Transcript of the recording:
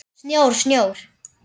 Snjór, snjór.